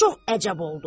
Çox əcəb oldu.